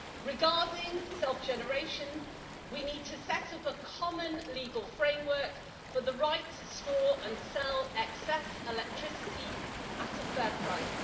Regarding self generation, we need to set up a common legal framework for the right to store and sell excess electricity at a fair price.